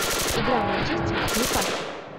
игра манчестер с ньюкаслом